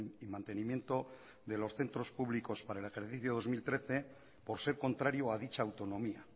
y mantenimiento de los centros públicos para el ejercicio dos mil trece por ser contrario a dicha autonomía